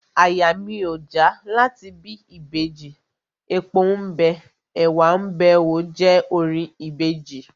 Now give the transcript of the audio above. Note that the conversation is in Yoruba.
Àyà mi ò já láti bí Ìbejì, epo ḿ bẹ, ẹ̀wá ḿ bẹ óò je orin Ìbejì..